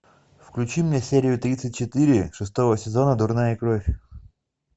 включи мне серию тридцать четыре шестого сезона дурная кровь